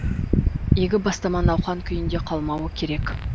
игі бастама науқан күйінде қалмауы керек